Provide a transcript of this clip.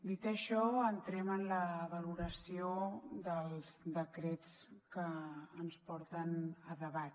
dit això entrem en la valoració dels decrets que ens porten a debat